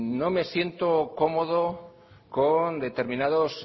no me siento cómodo con determinados